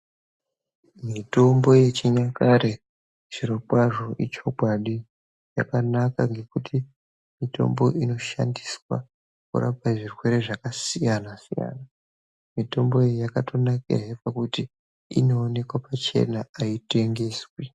Mitombo yechinyakare zvirokwazvo ichokwadi yakanaka ngekuti mitombo inoshandiswa kurapa zvirwere zvakasiyana siyana. Mitombo iyi yakatonakahe nekuti inoonekwa pachena aitengeswi.